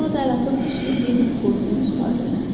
Sonra da əl atıb küçüyü Leninin qoynundan çıxartdı.